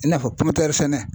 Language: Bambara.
I n'a fɔ pɔmutɛrisɛnɛ.